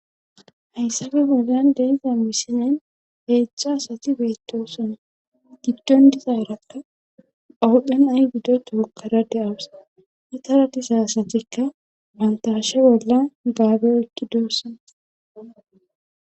hayssafe bollan deeza mishinen beechcho asati beettoson giddon diza erappe phawudhdhan ay giddo tookkara de7awusa metara disa asatikka pantashe bolla gaabe ekki doossan